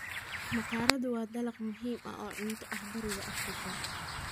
Maqaaradu waa dalag muhiim ah oo cunto ah bariga Afrika.